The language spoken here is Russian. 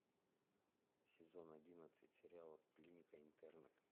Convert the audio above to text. сезон одиннадцать сериала клиника интерны